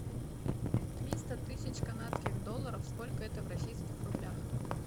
триста тысяч канадских долларов сколько это в российских рублях